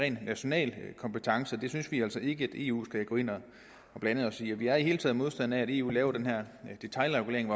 en national kompetence det synes vi altså ikke at eu skal gå ind at blande sig i vi er i det hele taget modstander af at eu laver detailregulering